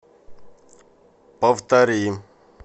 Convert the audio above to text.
повтори